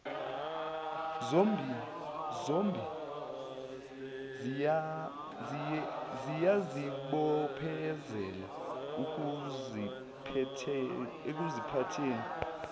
zombi ziyazibophezela ekuziphatheni